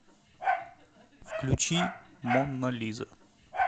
включи мона лиза